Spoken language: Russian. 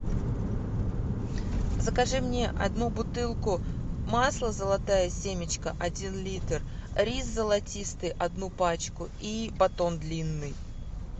закажи мне одну бутылку масла золотая семечка один литр рис золотистый одну пачку и батон длинный